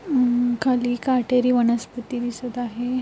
हम्म खाली काटेरी वनस्पती दिसत आहे.